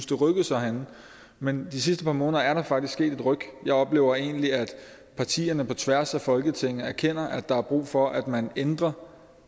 det rykkede sig herinde men de sidste par måneder er der faktisk sket et ryk jeg oplever egentlig at partierne på tværs af folketinget erkender at der er brug for at man ændrer